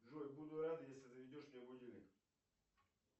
джой буду рад если заведешь мне будильник